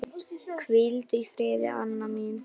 Hvíldu í friði, Anna mín.